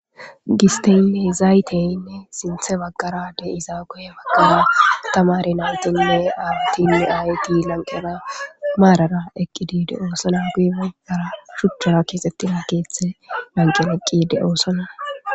Gisteyinne zayteyinne sinthe baggara de'izaa. Guye baggara tamare naytinne awatinne aayeti lanqera maarara eqqidiide doosona. Guye baggara shuchchara keexettina keehthe lanqera eqqide doosona.